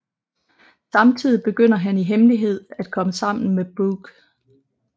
Samtidig begynder han i hemmelighed at komme sammen med Brooke